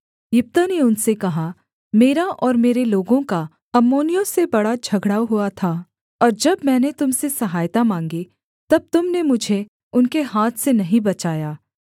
यिप्तह ने उनसे कहा मेरा और मेरे लोगों का अम्मोनियों से बड़ा झगड़ा हुआ था और जब मैंने तुम से सहायता माँगी तब तुम ने मुझे उनके हाथ से नहीं बचाया